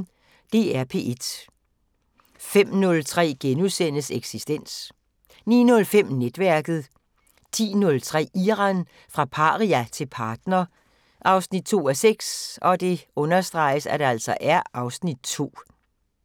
DR P1